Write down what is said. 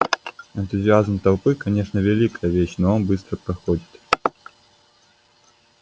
энтузиазм толпы конечно великая вещь но он быстро проходит